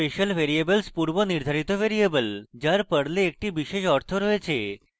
special variables পূর্বনির্ধারিত variable যার perl একটি বিশেষ অর্থ রয়েছে